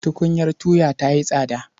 Tukunyar tuya ta yi tsada.